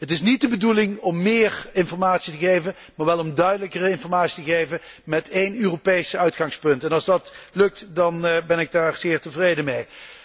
Het is niet de bedoeling om meer informatie te geven, maar wel om duidelijke informatie te geven met één Europees uitgangspunt en als dat lukt, dan ben ik daar zeer tevreden mee.